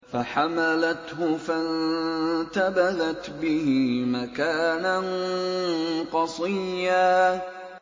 ۞ فَحَمَلَتْهُ فَانتَبَذَتْ بِهِ مَكَانًا قَصِيًّا